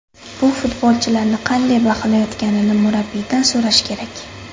Bu futbolchilarni qanday baholayotganini murabbiydan so‘rash kerak.